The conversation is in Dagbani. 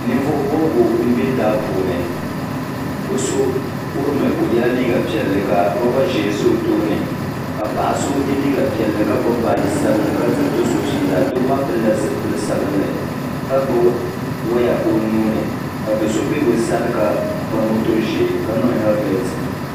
Ninvuɣu bobgu m be daa puuni bɛ so kurimi o yela liiga piɛlli ka loba ʒee za o tooni ka paɣa so ye liiga piɛlli ka gbibi baaji sabinli ka diri do'so fiila doo maa pilila zipil'sabinli ka gbibi waya o nuuni ka do'so be bɛ sani ka ba moto ʒee ka niŋ helimenti.